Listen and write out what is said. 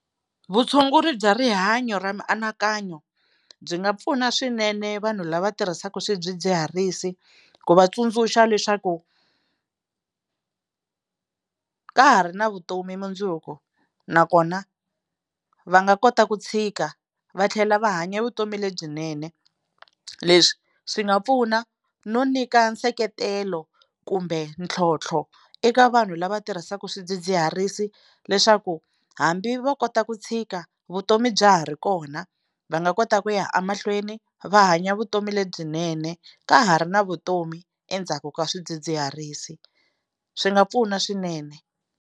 Vutshunguri bya rihanyo ra mianakanyo byi nga pfuna swinene vanhu lava tirhisaka swidzidziharisi ku va tsundzuxa leswaku ka ha ri na vutomi mundzuku, nakona va nga kota ku tshika va tlhela va hanya vutomi lebyinene. Leswi swi nga pfuna no nyika nseketelo kumbe ntlhontlho eka vanhu lava tirhisaka swidzidziharisi leswaku hambi va kota ku tshika vutomi bya ha ri kona va nga kota ku ya emahlweni va hanya vutomi lebyinene ka ha ri na vutomi endzhaku ka swidzidziharisi, swi nga pfuna swinene.